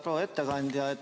Proua ettekandja!